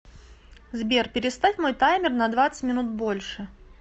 сбер переставь мой таймер на двадцать минут больше